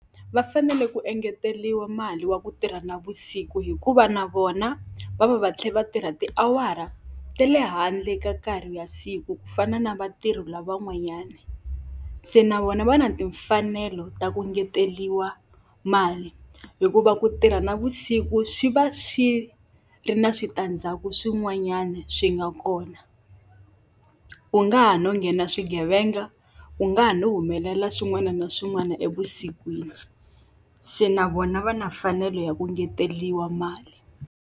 Va fanele ku engeteriwa mali ya ku tirha navusiku hikuva na vona va va va tlhela va tirha tiawara ta le handle ka nkarhi wa siku ku fana na vatirhi lavan'wanyani. Se na vona va na timfanelo ta ku engeteriwa mali, hikuva ku tirha navusiku swi va swi ri na switandzhaku swin'wanyana swi nga kona. Ku nga ha no nghena swigevenga, ku nga ha no humelela swin'wana na swin'wana evusikwini. Se na vona va na mfanelo ya ku engeteriwa mali.